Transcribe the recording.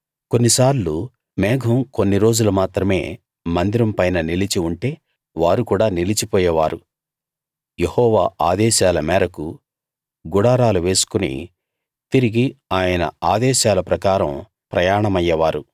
కొన్నిసార్లు మేఘం కొన్ని రోజులు మాత్రమే మందిరం పైన నిలిచి ఉంటే వారు కూడా నిలిచిపోయే వారు యెహోవా ఆదేశాల మేరకు గుడారాలు వేసుకుని తిరిగి ఆయన ఆదేశాల ప్రకారం ప్రయాణమయ్యే వారు